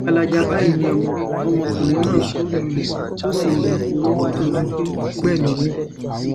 gbalaja báyìí ni ọmọkùnrin náà ṣubú lulẹ̀ tó sì ń jáporo kó tóó di pé ó gbẹ̀mí-ín mi